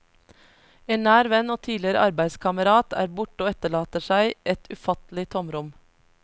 En nær venn og tidligere arbeidskamerat er borte og etterlater seg et ufattelig tomrom.